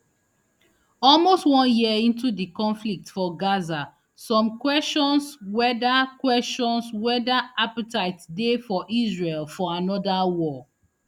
almost one year into di conflict for gaza some kwesions whether kwesions whether appetite dey for israel for anoda war